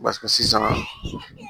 sisan